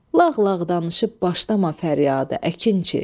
Lağlağ danışıb başlama fəryadə, əkinçi.